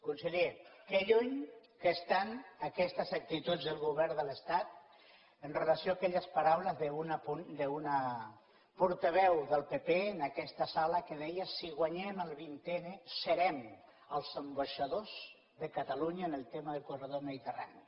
conseller que lluny que estan aquestes actituds del govern de l’estat amb relació a aquelles paraules d’una portaveu del pp en aquesta sala que deia si guanyem el vint n serem els ambaixadors de catalunya en el tema del corredor mediterrani